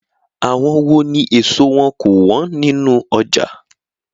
Àwọn wó ní ẹ̀so wọn kò wọ́n nínú ọjà?